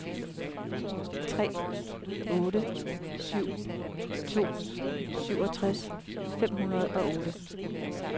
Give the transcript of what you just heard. tre otte syv to syvogtres fem hundrede og otte